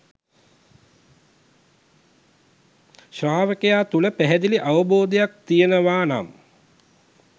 ශ්‍රාවකයා තුළ පැහැදිලි අවබෝධයක් තියෙනවා නම්